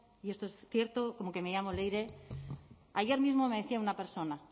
y esto es cierto como que me llamo leire ayer mismo me decía una persona